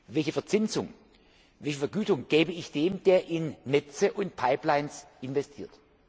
Welche Verzinsung, wie viel Vergütung gebe ich dem, der in Netze und Pipelines investiert?